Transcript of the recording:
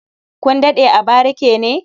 Kun daɗe a barike ne?